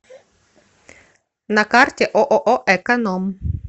на карте ооо эконом